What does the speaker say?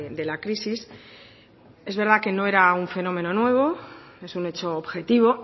de la crisis es verdad que no era un fenómeno nuevo es un hecho objetivo